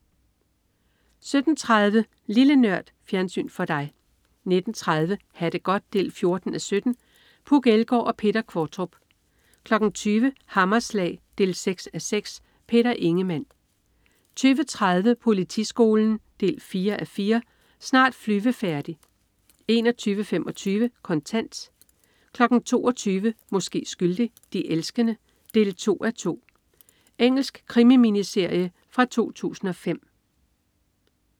17.30 Lille Nørd. Fjernsyn for dig 19.30 Ha' det godt 14:17. Puk Elgård og Peter Qvortrup 20.00 Hammerslag 6:6. Peter Ingemann 20.30 Politiskolen 4:4. Snart flyvefærdig 21.25 Kontant 22.00 Måske skyldig. De elskende 2:2. Engelsk krimi-miniserie fra 2005